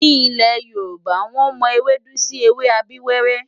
Ní ilẹ̀ Yorùbá, wọ́n mọ ewédú sí ewé abíwẹ́rẹ́.